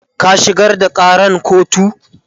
ka shigar da Karan kotu!